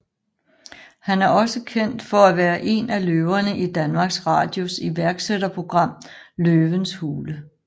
Han er også kendt for at være en af løverne i Danmarks Radios iværksætterprogram Løvens Hule